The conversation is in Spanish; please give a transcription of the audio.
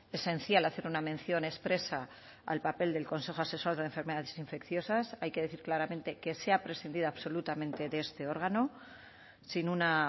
esencial hacer una mención expresa al papel del consejo asesor de enfermedades infecciosas hay que decir claramente que se ha prescindido absolutamente de este órgano sin una